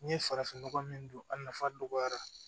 N ye farafin nɔgɔ min don a nafa dɔgɔyara